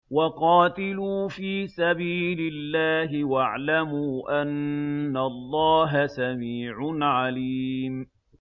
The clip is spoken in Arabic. وَقَاتِلُوا فِي سَبِيلِ اللَّهِ وَاعْلَمُوا أَنَّ اللَّهَ سَمِيعٌ عَلِيمٌ